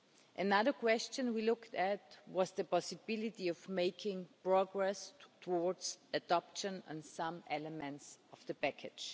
Another question we looked at was the possibility of making progress towards adoption of some elements of the package.